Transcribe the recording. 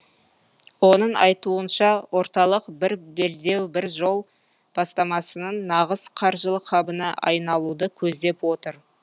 оның айтуынша орталық бір белдеу бір жол бастамасының нағыз қаржылық хабына айналуды көздеп отыр